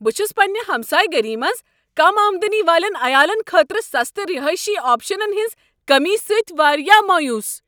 بہٕ چھس پنٛنہ ہمسایہٕ گٔری منٛز کم آمدنی والین عیالن خٲطرٕ سستہٕ رہٲیشی آپشنن ہنٛز کمی سۭتۍ واریاہ مایوس۔